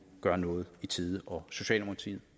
gør noget i tide socialdemokratiet